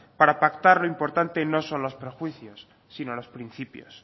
para pactar lo importante no son los prejuicios si no los principios